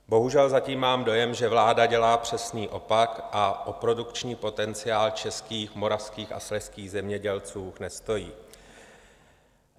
Bohužel zatím mám dojem, že vláda dělá přesný opak a o produkční potenciál českých, moravských a slezských zemědělců nestojí.